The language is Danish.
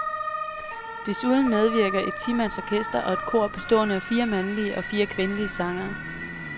Desuden medvirker et timands orkester og et kor bestående af fire mandlige og fire kvindelige sangere.